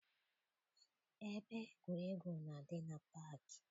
Ebe egwuregwu na-adị na paakị.